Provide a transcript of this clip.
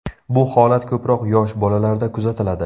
Bu holat ko‘proq yosh bolalarda kuzatiladi.